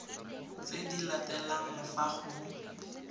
tse di latelang fa go